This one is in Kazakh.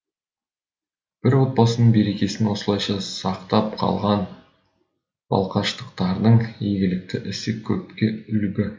бір отбасының берекесін осылайша сақтап қалған балқаштықтардың игілікті ісі көпке үлгі